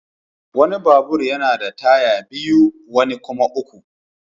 Wani babur yana da taya biyu wani kuma uku.